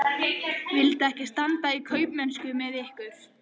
Ég vildi ekki standa í kaupmennsku með ykkur!